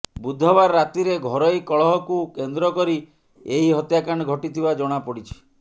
ବୁଧବାର ରାତିରେ ଘରୋଇ କଳହକୁ କେନ୍ଦ୍ରକରି ଏହି ହତ୍ୟାକାଣ୍ଡ ଘଟିଥିବା ଜଣାପଡିଛି